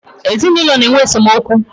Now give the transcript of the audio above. ezinụlọ na-enwe esemokwu.